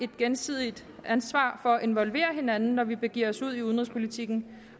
gensidigt ansvar for at involvere hinanden når vi begiver os ud i udenrigspolitikken